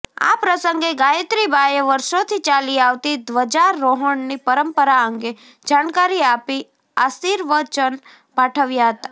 આ પ્રસંગે ગાયત્રીબાએ વર્ષોથી ચાલી આવતી ધ્વજારોહણની પરંપરા અંગે જાણકારી આપી આશિવર્ચન પાઠવ્યા હતાં